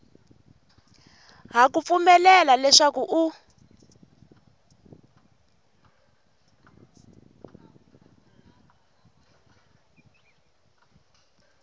ha ku pfumelela leswaku u